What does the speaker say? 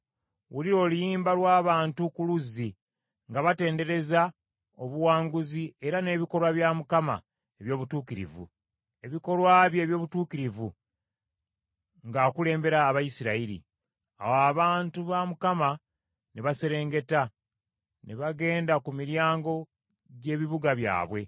Wulira oluyimba lw’abantu ku luzzi, nga batendereza obuwanguzi era n’ebikolwa bya Mukama eby’obutuukirivu, ebikolwa bye eby’obutuukirivu nga akulembera Abayisirayiri. “Awo abantu ba Mukama ne baserengeta, ne bagenda ku miryango gy’ebibuga byabwe.